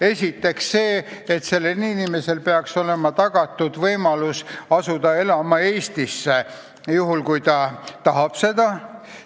Esiteks see, et sellele inimesele peaks olema tagatud võimalus asuda elama Eestisse, juhul kui ta tahab seda.